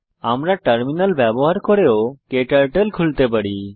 আমরা টার্মিনাল ব্যবহার করেও ক্টার্টল খুলতে পারি